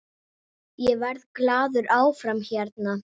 Ég verð glaður áfram hérna.